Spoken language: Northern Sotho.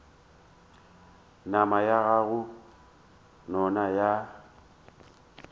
nama ya go nona ya